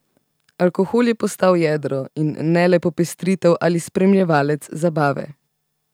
Alkohol je postal jedro in ne le popestritev ali spremljevalec zabave.